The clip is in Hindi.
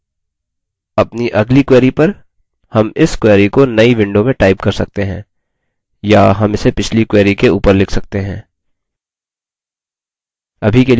अब अपनी अगली query पर हम इस query को now window में type कर सकते हैं या हम इसे पिछली query के ऊपर लिख सकते हैं